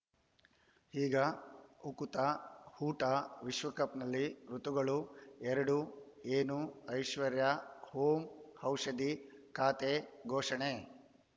ಈಗ ಉಕುತ ಊಟ ವಿಶ್ವಕಪ್‌ನಲ್ಲಿ ಋತುಗಳು ಎರಡು ಏನು ಐಶ್ವರ್ಯಾ ಓಂ ಔಷಧಿ ಖಾತೆ ಘೋಷಣೆ